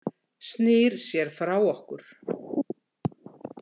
Snýr sér frá okkur.